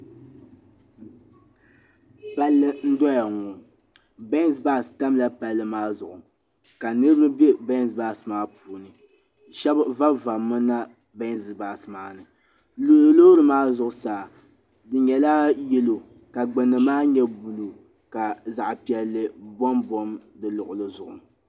Palli m bɔŋɔ ŋɔ, benz buse tamla palli maa zuɣu, ka niribi be bensbuse maa puuni, shabi zanzami. nema buse maani, lɔɔri maa zuɣu saa. di nyɛla yelow. ka gbunni maa nyɛ blue ka zaɣipiɛli bombom di luɣili zuɣu.